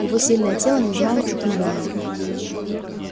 его сильное тело не знало утомления